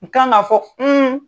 N kan k'a fɔ